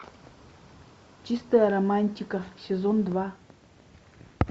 чистая романтика сезон два